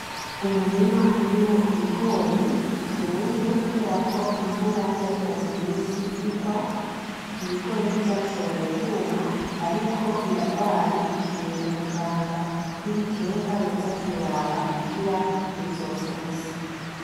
Umurima urimwo Ibigori bitumye, kubera ko imvura yarimaze imitsi irwa Ibigori ntivyashoboye kwuma ,ariko birarwaye bikeneye umuganga w'ibiterwa yoza kubiraba kugira ntibizopfe ubusa.